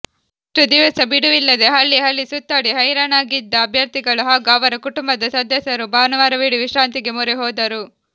ಇಷ್ಟು ದಿವಸ ಬಿಡುವಿಲ್ಲದೇ ಹಳ್ಳಿಹಳ್ಳಿ ಸುತ್ತಾಡಿ ಹೈರಾಣಾಗಿದ್ದ ಅಭ್ಯರ್ಥಿಗಳು ಹಾಗೂ ಅವರ ಕುಟುಂಬದ ಸದಸ್ಯರು ಭಾನುವಾರವಿಡೀ ವಿಶ್ರಾಂತಿಗೆ ಮೊರೆ ಹೋದರು